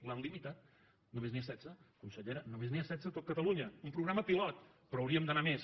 l’han limitat només n’hi ha setze consellera només n’hi ha setze a tot catalunya un programa pilot però hauríem d’anar a més